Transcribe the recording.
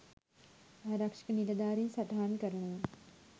ආරක්ෂක නිලධාරීන් සටහන් කරනවා..